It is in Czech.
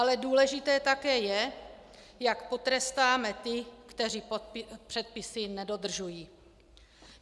Ale důležité také je, jak potrestáme ty, kteří předpisy nedodržují.